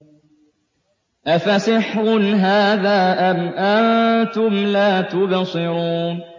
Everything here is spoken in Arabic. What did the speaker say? أَفَسِحْرٌ هَٰذَا أَمْ أَنتُمْ لَا تُبْصِرُونَ